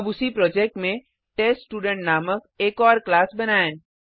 अब उसी प्रोजेक्ट में टेस्टस्टूडेंट नामक एक और क्लास बनाएँ